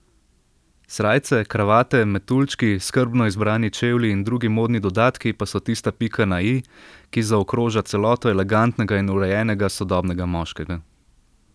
Srajce, kravate, metuljčki, skrbno izbrani čevlji in drugi modni dodatki pa so tista pika na i, ki zaokroža celoto elegantnega in urejenega sodobnega moškega.